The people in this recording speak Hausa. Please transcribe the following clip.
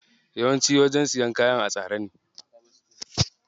Yawanci wajen siyan kaya a tsare ne.